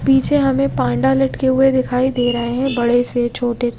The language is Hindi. पीछे हमे पांडा लटके हुए दिखाई दे रहे है बड़े से छोटे से --